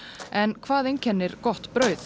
en hvað einkennir gott brauð